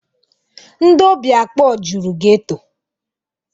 Ndị óbì akpọ juru geto.